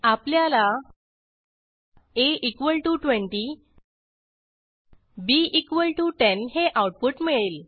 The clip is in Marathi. आपल्याला a20 b10 हे आऊटपुट मिळेल